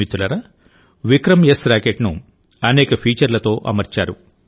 మిత్రులారా విక్రమ్ఎస్ రాకెట్ ను అనేక ఫీచర్లతో అమర్చారు